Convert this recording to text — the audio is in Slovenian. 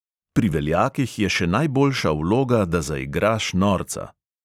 "Pri veljakih je še najboljša vloga, da zaigraš norca."